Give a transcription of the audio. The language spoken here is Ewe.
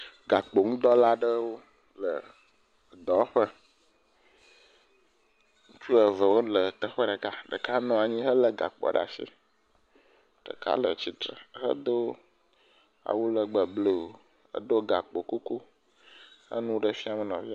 Gakpoŋudɔwɔla aɖewo le dɔwɔƒe, ŋutsu eve wole teƒe ɖeka, ɖeka nɔ anyi helé gakpoa ɖe asi, ɖeka le tsitre hedo awu legbe blu edo gakpo kuku enu ɖe fiam nɔvia.